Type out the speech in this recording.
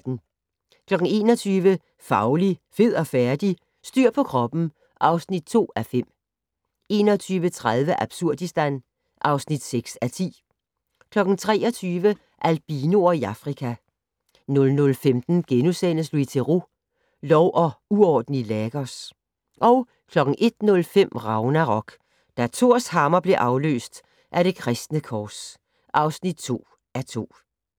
21:00: Fauli, fed og færdig? - Styr på kroppen (2:5) 21:30: Absurdistan (6:10) 23:00: Albinoer i Afrika 00:15: Louis Theroux: Lov og uorden i Lagos * 01:05: Ragnarok: Da Thors hammer blev afløst af det kristne kors (2:2)